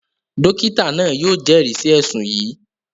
Dókítà náà yóò jẹ́rìí sí ẹ̀ṣùn yìí